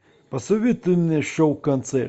посоветуй мне шоу концерт